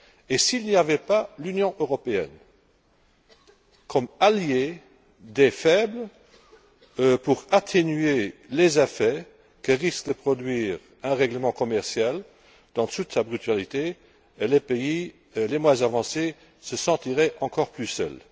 Et s'il n'y avait pas l'Union européenne comme alliée des faibles pour atténuer les effets que risque de produire un règlement commercial, dans toute sa brutalité, les pays les moins avancés se sentiraient encore plus seuls.